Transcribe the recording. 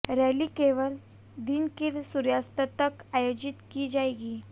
rally केवल दिन के सूर्यास्त तक आयोजित की जाएगी